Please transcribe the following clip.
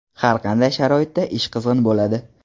Har qanday sharoitda ish qizg‘in bo‘ladi.